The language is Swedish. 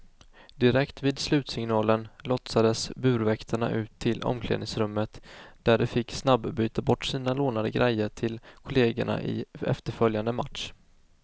Direkt vid slutsignalen lotsades burväktarna ut till omklädningsrummet där de fick snabbyta bort sina lånade grejor till kollegerna i efterföljande match.